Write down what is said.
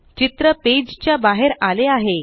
चित्र पेजच्या बाहेर आले आहे